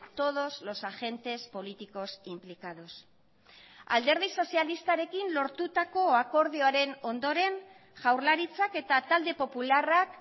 todos los agentes políticos implicados alderdi sozialistarekin lortutako akordioaren ondoren jaurlaritzak eta talde popularrak